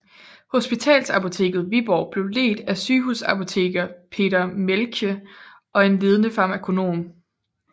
Hospitalsapoteket Viborg blev ledt af sygehusapoteker Peter Mielche og en ledende farmakonom